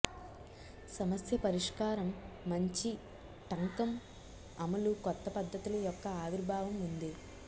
సమస్య పరిష్కారం మంచి టంకం అమలు కొత్త పద్ధతుల యొక్క ఆవిర్భావం ఉంది